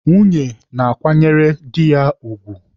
Nwunye na-akwanyere dị ya ugwu.